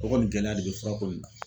O kɔni gɛlɛya de bɛ furako in na.